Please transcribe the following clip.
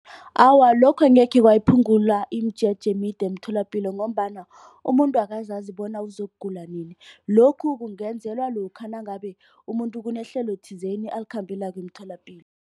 Awa, lokho angekhe kwayiphungula imijeje emide emtholapilo. Ngombana umuntu akazazi bona uzokugula nini. Lokhu kungenzelwa lokha nangabe umuntu kunehlelo thizeni alikhambelako emtholapilo.